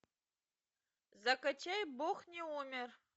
закачай бог не умер